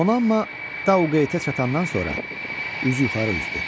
Donanma Dauqeytə çatandan sonra üzü yuxarı üzdü.